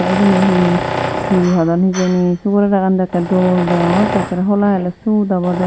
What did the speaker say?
uboni he he hodon hijeni sugor era gan dow ekkore dol degongotte ekkere hola hele sut obode.